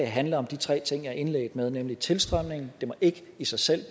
handle om de tre ting jeg indledte med nemlig 1 tilstrømningen at det ikke i sig selv